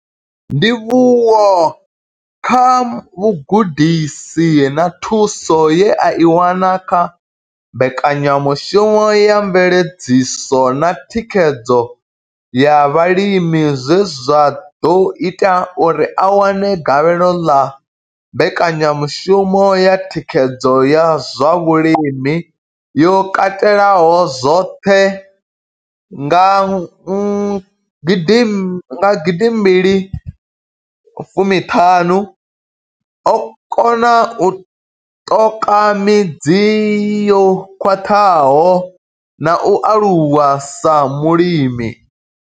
Ndivhuwo kha vhugudisi na thuso ye a i wana kha mbekanyamushumo ya mveledziso na thikhedzo ya vhalimi zwe zwa ḓo ita uri a wane gavhelo ḽa mbekanyamushumo ya thikhedzo ya zwa vhulimi yo katelaho zwoṱhe nga gidi mbili fumi ṱhanu, o kona u ṱoka midzi yo khwaṱhaho na u aluwa sa mulimi.